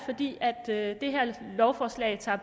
det her lovforslag tager